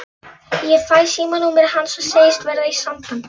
Ég fæ símanúmerið hans og segist verða í sambandi.